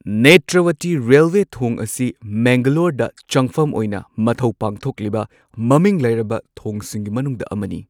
ꯅꯦꯇ꯭ꯔꯋꯇꯤ ꯔꯦꯜꯋꯦ ꯊꯣꯡ ꯑꯁꯤ ꯃꯪꯒꯂꯣꯔꯗ ꯆꯪꯐꯝ ꯑꯣꯏꯅ ꯃꯊꯧ ꯄꯥꯡꯊꯣꯛꯂꯤꯕ ꯃꯃꯤꯡ ꯂꯩꯔꯕ ꯊꯣꯡꯁꯤꯡꯒꯤ ꯃꯅꯨꯡꯗ ꯑꯃꯅꯤ꯫